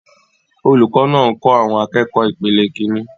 Olùkọ́ náà ń kọ́ àwọn akẹ́kọ̀ọ́ ìpele Kínní.